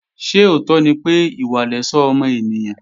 Ṣé òótọ́ ni pé, ìwà lẹ̀ṣọ́ ọmọ ènìyàn?